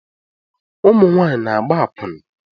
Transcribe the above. Ụmụ nwanyị na-agba akwuna